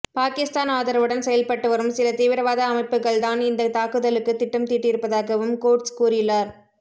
பாகிஸ்தான் ஆதரவுடன் செயல்பட்டுவரும் சில தீவிரவாத அமைப்புகள் தான் இந்த தாக்குதலுக்கு திட்டம் தீட்டியிருப்பதாகவும் கோட்ஸ் கூறியுள்ளார்